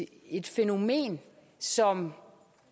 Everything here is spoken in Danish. et fænomen som